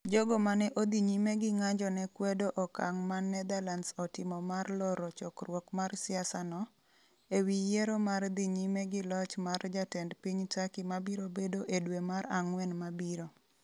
Jogo mane odhi nyime gi ng'anjo ne kwedo okang' ma Netherlands otimo mar loro chokruok mar siasa no, ewi yiero mar dhi nyime gi loch mar Jatend piny Turkey mabiro bedo e dwe mar Ang'wen mabiro.